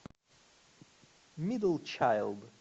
мидл чайлд